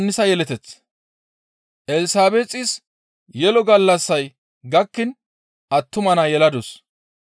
Elsabeexis yelo gallassay gakkiin attuma naa yeladus.